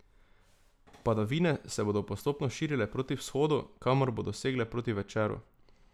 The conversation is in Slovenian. Padavine se bodo postopno širile proti vzhodu, kamor bodo segle proti večeru.